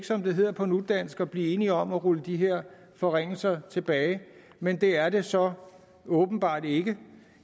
som det hedder på nudansk at blive enige om at rulle de her forringelser tilbage men det er det så åbenbart ikke